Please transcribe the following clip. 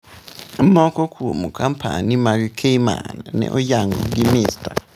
Moko kuom kompanyi mag Cayman ne oyango gi Mr.